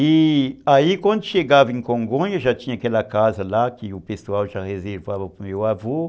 E aí, quando chegava em Congonha, já tinha aquela casa lá, que o pessoal já reservava para o meu avô.